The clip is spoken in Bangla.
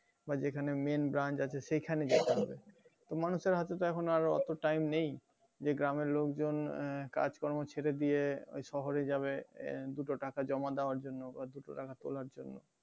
যেখানে main branch আছে সেখানে দেখতে হবে মানুষের হাতে তো এখন অতো time নেই যে গ্রামের লোকজন আহ কাজ কর্ম ছেড়ে দিয়ে ওই শহরে যাবে দুটো টাকা জমা দেওয়ার জন্য বা দুটো টাকা তোলার জন্য